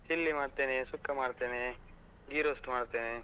Chilli ಮಾಡ್ತೇನೆ, ಸುಕ್ಕ ಮಾಡ್ತೇನೆ, ghee roast ಮಾಡ್ತೇನೆ.